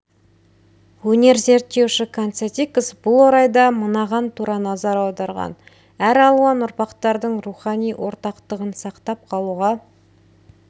өнер зерттеуші канцедикас бұл орайда мынаған тура назар аударған әр алуан ұрпақтардың рухани ортақтығын сақтап қалуға